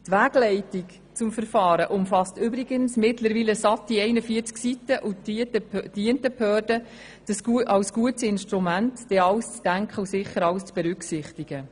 Die Wegleitung zum Verfahren umfasst übrigens mittlerweile satte 41 Seiten und dient den Behörden als gutes Instrument, um an alles zu denken und alles zu berücksichtigen.